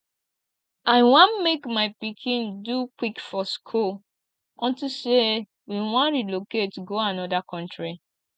i wan make my pikin do quick for school unto say we wan relocate go another country